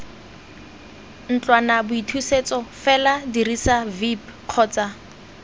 ntlwanaboithusetso fela dirisa vip kgotsa